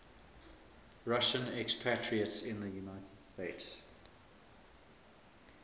russian expatriates in the united states